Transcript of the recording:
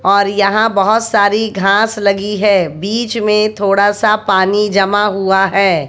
और यहां बहोत सारी घास लगी है बीच में थोड़ा सा पानी जमा हुआ है।